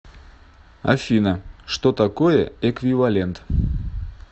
афина что такое эквивалент